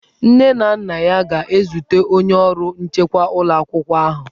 Nne na nna ya ga-ezute onye ọrụ nchekwa ụlọ akwụkwọ ahụ.